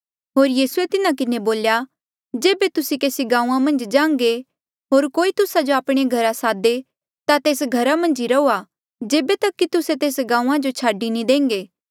होर यीसूए तिन्हा किन्हें बोल्या जेबे तुस्से केसी गांऊँआं मन्झ जान्घे होर कोई तुस्सा जो आपणे घरा सादे ता तेस घरा मन्झ ई रहुआ जेबे तक कि तुस्से तेस गांऊँआं जो छाडी नी देंघे